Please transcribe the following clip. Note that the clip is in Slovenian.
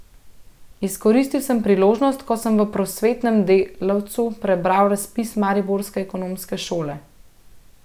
Izkoristil sem priložnost, ko sem v Prosvetnem delavcu prebral razpis mariborske ekonomske šole.